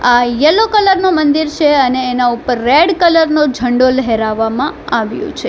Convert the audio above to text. આ yellow colour નું મંદિર છે અને એના ઉપર રેડ કલર નો ઝંડો લહેરાવવામાં આવ્યો છે.